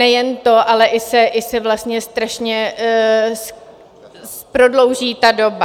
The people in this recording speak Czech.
Nejen to, ale i se vlastně strašně prodlouží ta doba.